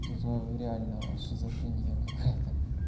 реально шизофрения какая-то